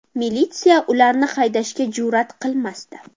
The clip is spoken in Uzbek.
Militsiya ularni haydashga jur’at qilmasdi.